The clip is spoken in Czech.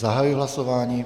Zahajuji hlasování.